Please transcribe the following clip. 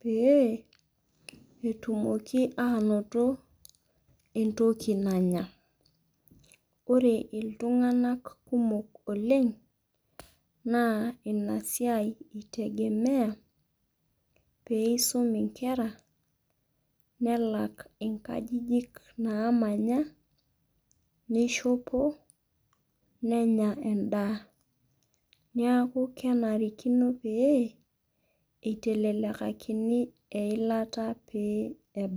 Pee etumoki aanoto entoki nanya. Ore iltunganak kumok oleng naa inasiai eingorita peisum inkera nelak inkajijik naamanya, neishopo, nenya endaa. Niaku kenare neitelekakini enkinyiangunot eilata pee ebaiki.